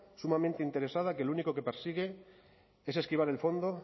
sumamente interesada que lo único que persigue es esquivar el fondo